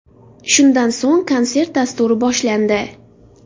Shundan so‘ng konsert dasturi boshlandi.